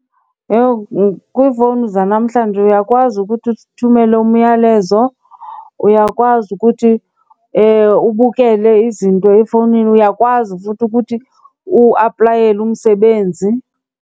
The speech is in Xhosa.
Yho, kwiifowuni zanamhlanje uyakwazi ukuthi uthumele umyalezo, uyakwazi ukuthi ubukele izinto efowunini. Uyakwazi futhi ukuthi uaplayele umsebenzi.